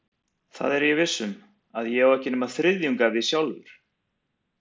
Það er ég viss um, að ég á ekki nema þriðjung af því sjálfur.